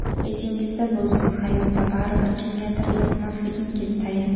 Esingizda bo‘lsin, hayotda baribir kimgadir yoqmasligingiz tayin.